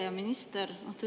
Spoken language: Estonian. Hea minister!